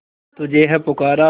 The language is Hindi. तुझे है पुकारा